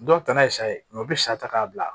Dɔw ta na ye sa ye u bɛ sa ta k'a bila